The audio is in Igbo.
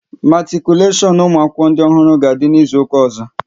Matikuleshon ụmụ akwụkwọ ndị ọhụrụ a ga-adị n'izuka ọzọ?